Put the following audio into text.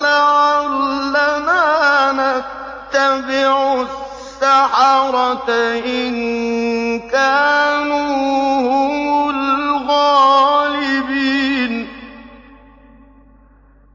لَعَلَّنَا نَتَّبِعُ السَّحَرَةَ إِن كَانُوا هُمُ الْغَالِبِينَ